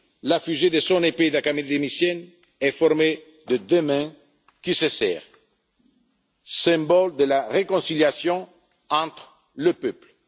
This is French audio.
nôtres. La fusée de son épée d'académicienne est formée de deux mains qui se serrent, symbole de la réconciliation entre les